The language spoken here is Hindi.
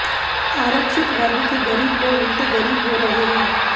आरक्षित वर्ग के गरीब लोग उलटे गरीब हो रहे हैं